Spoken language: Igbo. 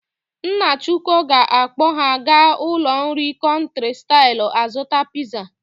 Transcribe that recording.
Nna Ọchụko ga-akpọ ha aga ụlọ nri Country style azụta piza.